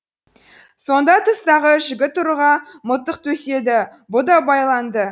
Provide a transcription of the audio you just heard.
сонда тыстағы жігіт ұрыға мылтық төседі бұ да байланды